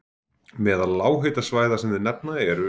Meðal lághitasvæða sem þeir nefna eru